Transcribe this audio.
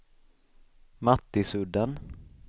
Mattisudden